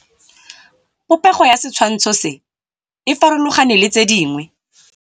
Popêgo ya setshwantshô se, e farologane le tse dingwe.